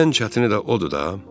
Elə ən çətini də odur da.